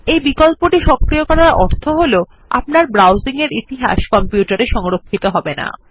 এই বিকল্পটি সক্রিয় করার অর্থ হল আপনার ব্রাউজিংএর ইতিহাস কম্পিউটারে সংরক্ষিত থাকবে না